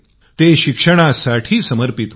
ते शिक्षणासाठी समर्पित होते